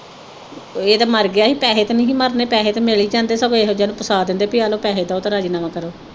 ਇਹ ਤੇ ਮਰ ਗਿਆ ਹੀ ਪੈਹੇ ਤੇ ਨੀ ਹੀ ਮਰਨੇ ਪੈਹੇ ਤੇ ਮਿਲ ਹੀ ਜਾਂਦੇ ਸਗੋਂ ਇਹੋ ਜਿਹੀਆਂ ਨੂੰ ਫਸਾ ਦਿੰਦੇ ਬਈ ਆਲੋ ਪੈਹੇ ਦਓ ਤੇ ਰਾਜ਼ੀਨਾਮਾ ਕਰੋ